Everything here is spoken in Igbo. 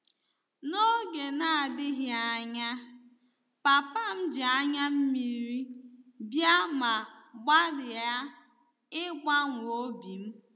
N'oge na-adịghị anya, papa m ji anya mmiri bịa ma gbalịa ịgbanwe obi m.